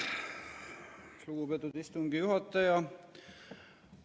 Lugupeetud istungi juhataja!